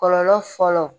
Kɔlɔlɔ fɔlɔ